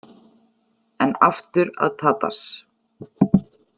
En aftur að Tadas.